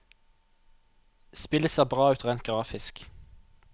Spillet ser bra ut rent grafisk.